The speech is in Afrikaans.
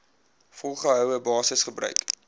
volgehoue basis gebruik